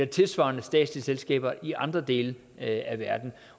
tilsvarende statslige selskaber i andre dele af verden